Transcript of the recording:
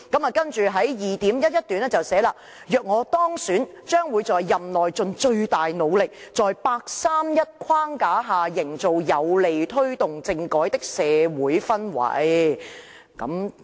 "然後在第 2.11 段說"若我當選，將會在任內盡最大努力，在'八三一'框架下營造有利推動政改的社會氛圍。